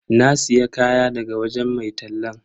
Na siya kaya daga wajen mai tallan.